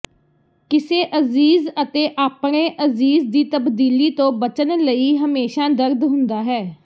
ਕਿਸੇ ਅਜ਼ੀਜ਼ ਅਤੇ ਆਪਣੇ ਅਜ਼ੀਜ਼ ਦੀ ਤਬਦੀਲੀ ਤੋਂ ਬਚਣ ਲਈ ਹਮੇਸ਼ਾਂ ਦਰਦ ਹੁੰਦਾ ਹੈ